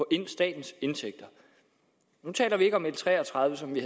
statens indtægter nu taler vi ikke om l tre og tredive som vi